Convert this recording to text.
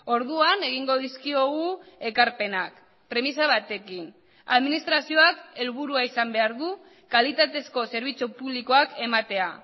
orduan egingo dizkiogu ekarpenak premisa batekin administrazioak helburua izan behar du kalitatezko zerbitzu publikoak ematea